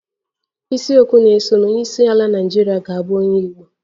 Isiokwu na-esonụ Onyeisiala Naịjirịa ga-abụ onye Igbo